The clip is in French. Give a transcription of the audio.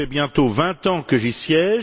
cela fait bientôt vingt ans que j'y siège.